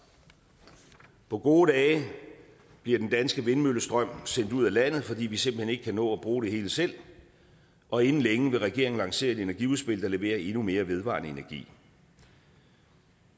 på gode dage bliver den danske vindmøllestrøm sendt ud af landet fordi vi simpelt hen ikke kan nå at bruge det hele selv og inden længe vil regeringen lancere et energiudspil der leverer endnu mere vedvarende energi